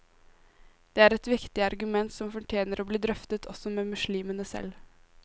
Det er et viktig argument, som fortjener å bli drøftet også med muslimene selv.